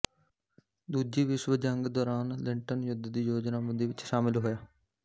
ਦੂਜੀ ਵਿਸ਼ਵ ਜੰਗ ਦੌਰਾਨ ਲਿੰਟਨ ਯੁੱਧ ਦੀ ਯੋਜਨਾਬੰਦੀ ਵਿਚ ਸ਼ਾਮਿਲ ਹੋਇਆ